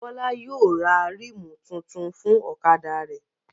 Bọ́lá yóò ra ríìmù tuntun fún ọ̀kadà rẹ̀